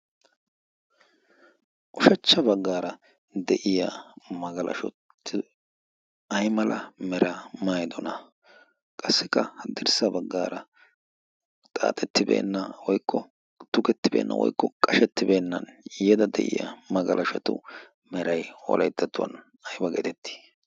oshachcha baggaara de'iya magalashottu ay mala mera maydona qassikka haddirssa baggaara xaaxettibeenna woikko tukettibeenna woikko qashettibeennan yada de'iya magalashotu merai wolayttatuwan ayba geetettii